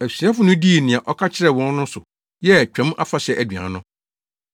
Asuafo no dii nea ɔka kyerɛɛ wɔn no so, yɛɛ Twam Afahyɛ aduan no.